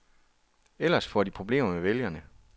Ellers får de problemer med vælgerne.